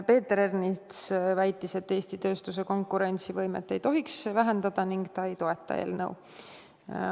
Peeter Ernits väitis, et Eesti tööstuse konkurentsivõimet ei tohiks vähendada ning ta ei toeta seda eelnõu.